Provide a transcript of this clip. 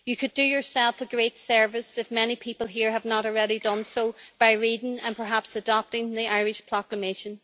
You could do yourself a great service, if many people here have not already done so, by reading and perhaps adopting the Irish Proclamation.